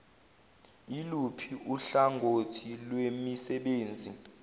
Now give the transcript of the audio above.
iluphi uhlangothi lwemisebenzi